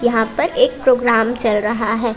यहां पर एक प्रोग्राम चल रहा है।